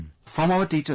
From our teachers